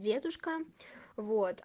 дедушка вот